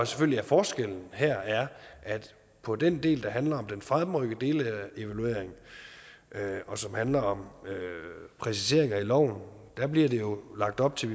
selvfølgelig er forskellen her er at på den del der handler om den fremrykkede delevaluering og som handler om præciseringer i loven bliver der lagt op til